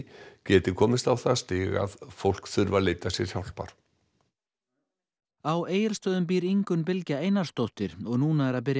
geti komist á það stig að fólk þurfi að leita sér hjálpar á Egilsstöðum býr Ingunn Bylgja Einarsdóttir og núna er að byrja